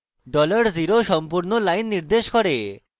$0 সম্পূর্ণ line নির্দেশ করে